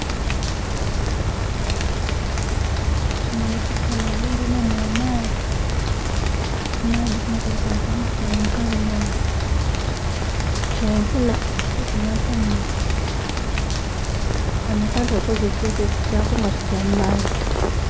Munho mu kifananhi mbonhamu amaadhi, ku maadhi kunho kuliku abantu kali mulangi ya kyenvu nga kuliku nha kamyufu, kanho akantu kakoze ekisense kyako nga kigya mu maadhi.